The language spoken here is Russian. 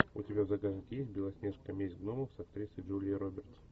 у тебя в загашнике есть белоснежка месть гномов с актрисой джулией робертс